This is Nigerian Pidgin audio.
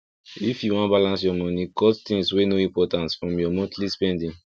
if you wan balance your money cut things wey no important from your monthly spending